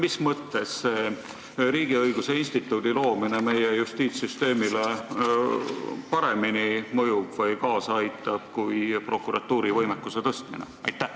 Mis mõttes mõjub riigiõiguse instituudi loomine meie justiitssüsteemile paremini kui prokuratuuri võimekuse tõstmine?